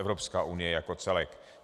Evropská unie jako celek.